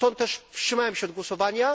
Stąd też wstrzymałem się od głosowania.